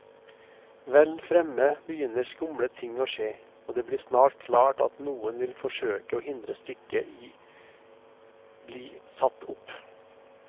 Vel fremme begynner skumle ting å skje, og det blir snart klart at noen vil forsøke å hindre stykket i bli satt opp.